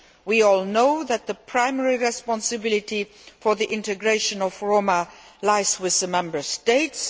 We all know that the primary responsibility for the integration of Roma lies with the Member States.